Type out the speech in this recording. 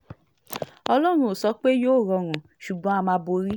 ọlọ́run ò sọ pé yóò rọrùn o ṣùgbọ́n á máa borí